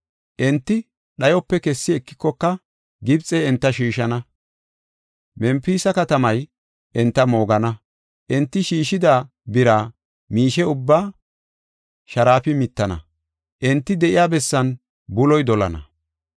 Enti dhayope kessi ekikoka Gibxey enta shiishana; Mempisa katamay enta moogana. Enti shiishida bira miishe ubbaa sharaafi mittana; enti de7iya bessan buloy dolana.